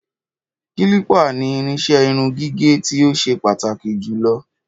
Kílípà ni irinṣẹ́ irun gígẹ̀ tí ó ṣe pàtàkì jù lọ